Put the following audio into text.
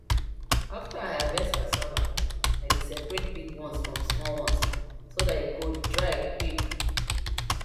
after i harvest cassava i dey separate big ones from small ones so dat e go dry quick